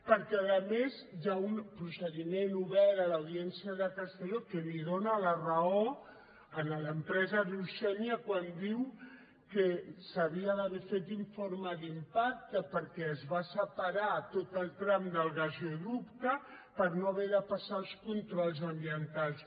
perquè a més hi ha un procediment obert a l’audiència de castelló que li dóna la raó a l’empresa riu sénia quan diu que s’havia d’haver fet informe d’impacte perquè es va separar tot el tram del gasoducte per no haver de passar els controls ambientals